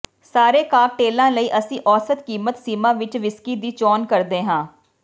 ਸਾਰੇ ਕਾਕਟੇਲਾਂ ਲਈ ਅਸੀਂ ਔਸਤ ਕੀਮਤ ਸੀਮਾ ਵਿੱਚ ਵਿਸਕੀ ਦੀ ਚੋਣ ਕਰਦੇ ਹਾਂ